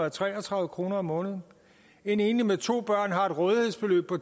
og tre og tredive kroner om måneden en enlig med to børn har et rådighedsbeløb på